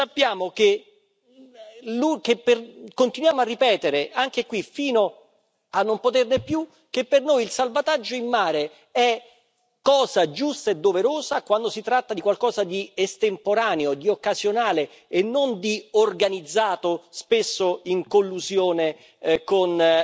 Sappiamo che, e continuiamo a ripetere anche qui, fino a non poterne più, che per noi il salvataggio in mare è cosa giusta e doverosa quando si tratta di qualcosa di estemporaneo, di occasionale e non di organizzato, spesso in collusione con